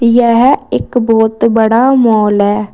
यह एक बहोत बड़ा मॉल है।